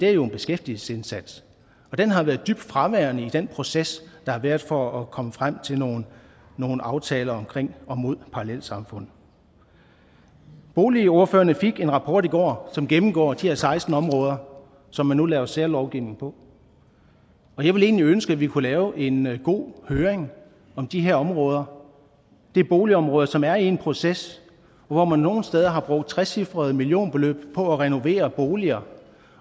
er jo en beskæftigelsesindsats og den har været dybt fraværende i den proces der har været for at komme frem til nogle nogle aftaler mod parallelsamfund boligordførerne fik en rapport i går som gennemgår de her seksten områder som man nu laver særlovgivning på og jeg ville egentlig ønske at vi kunne lave en god høring om de her områder det er boligområder som er i en proces hvor man nogle steder har brugt trecifrede millionbeløb på at renovere boligerne